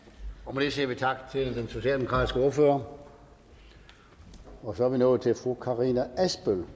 med det siger vi tak til den socialdemokratiske ordfører så er vi nået til fru karina adsbøl